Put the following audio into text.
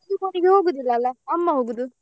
ಹೋಗುದಿಲ್ಲ ಅಲ್ಲ ಅಮ್ಮ ಹೋಗುದು.